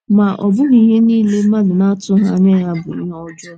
Ma, ọ bụghị ihe niile mmadụ na - atụghị anya ya bụ ihe ọjọọ.